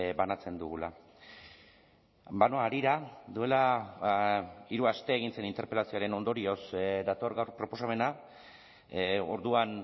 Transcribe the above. banatzen dugula banoa harira duela hiru aste egin zen interpelazioaren ondorioz dator gaur proposamena orduan